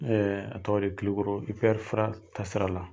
a tɔgɔ di Klikɔrɔ IPR FRA taasira la